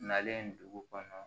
Nalen dugu kɔnɔ